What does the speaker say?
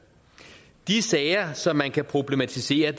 de sager som man kan problematisere